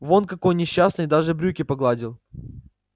вон какой несчастный и даже брюки погладил